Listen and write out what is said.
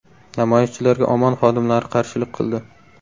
Namoyishchilarga OMON xodimlari qarshilik qildi.